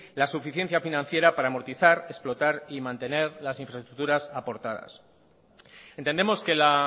la suficiencia financiera para amortizar explotar y mantener las infraestructuras aportadas entendemos que la